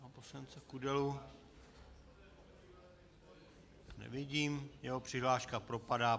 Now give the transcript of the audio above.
Pana poslance Kudelu nevidím, jeho přihláška propadá.